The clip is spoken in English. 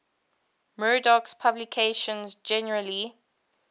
murdoch's publications generally